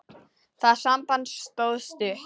Það samband stóð stutt.